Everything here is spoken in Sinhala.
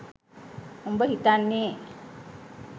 උඹ හිතන්නේ